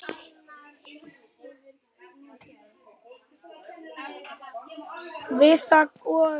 Við það og í því.